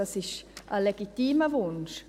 Das ist ein legitimer Wunsch.